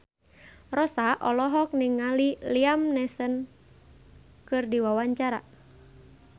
Rossa olohok ningali Liam Neeson keur diwawancara